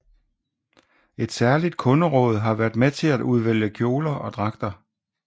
Et særligt kunderåd har været med til at udvælge kjoler og dragter